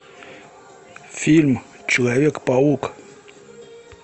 фильм человек паук